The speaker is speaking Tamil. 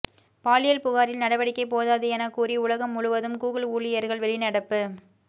பாலியல் புகாரில் நடவடிக்கை போதாது எனக் கூறி உலகம் முழுவதும் கூகுள் ஊழியர்கள் வெளிநடப்பு